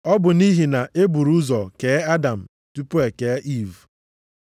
Ọ bụ nʼihi na e buru ụzọ kee Adam tupu e kee Iiv.